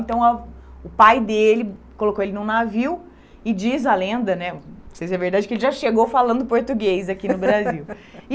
Então a o pai dele colocou ele num navio e diz a lenda né, não sei se é verdade, que ele já chegou falando português aqui no Brasil.